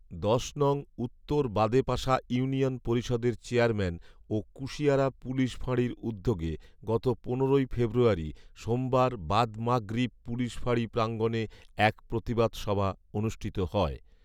দশ নং উত্তর বাদেপাশা ইউনিয়ন পরিষদের চেয়ারম্যান ও কুশিয়ারা পুলিশ ফাঁড়ির উদ্যোগে গত পনেরোই ফেব্রুয়ারি সোমবার বাদ মাগরিব পুলিশ ফাঁড়ি প্রাঙ্গণে এক প্রতিবাদ সভা অনুষ্ঠিত হয়